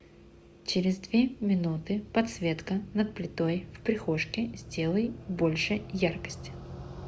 через две минуты подсветка над плитой в прихожке сделай больше яркость